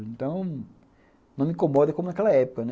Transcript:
Então, não me incomoda como naquela época, né.